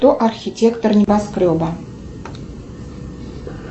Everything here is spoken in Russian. кто архитектор небоскреба